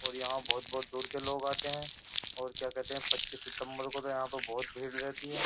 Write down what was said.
और यहाँ बहुत-बहुत दूर के लोग आते हैं और क्या कहते हैं पच्चीस सितंबर को तो यहाँ पर बहुत भीड़ रहती है।